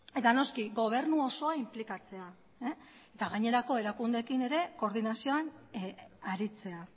eta noski gobernu osoa inplikatzea eta gainerako erakundeekin ere koordinazioan aritzea